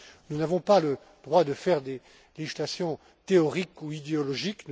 Nous n'avons pas le droit de faire des législations théoriques ou idéologiques.